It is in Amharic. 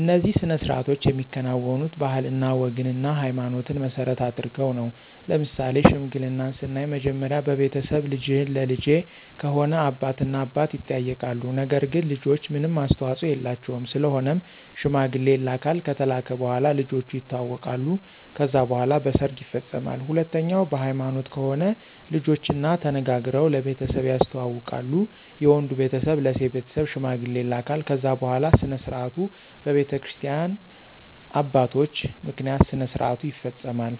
እነዚህ ሥነ ሥርዓቶች የሚከናወኑት ባህልና ወግንና ሀይማኖትን መሰረት አድርገው ነው። ለምሳሌ ሽምግልናን ስናይ መጀመሪያ በቤተሰብ ልጅህን ለልጀ ከሆነ አባት እና አባት ይጠያይቃሉ ነገር ግን ልጆች ምንም አስተዋፆ የላቸውም ስለሆነም ሽማግሌ ይላካል ከተላከ በኋላ ልጆቹ የተዋወቃሉ ከዛ በኋላ በሰርግ ይፈፀማል። ሁለተኛው በሀይማኖት ከሆነ ልጆችና ተነጋግረው ለቤተሰብ ያስተዋውቃሉ የወንዱ ቤተሰብ ለሴት ቤተሰብ ሽማግሌ ይላካል ከዛ በኋላ ስነስርዓቱ በቤተክርስቲያ አባቶች ምክንያት ስነስርዓቱ ይፈፀማል።